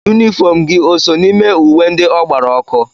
Yunifọm gị o so n'ime uwe ndị ọ gbara ọkụ.